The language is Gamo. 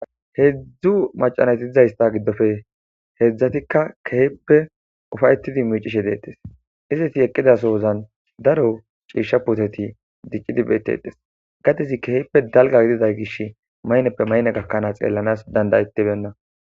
Hedzdzu maca nayti dizaysa gidoppe hedzdzatika kehippe ufa'etidi miicishe de'etesi Izeti eqida sozani daro ciisha puteti dicidi beetetesi, gadezi kehippe dalga gidida gishi mayinneppe mayinne gakanasi xeelanasi danda'etibeyina.